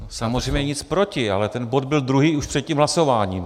Samozřejmě nic proti, ale ten bod byl druhý už před tím hlasováním.